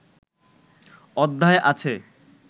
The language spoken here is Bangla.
অধ্যায়ে আছে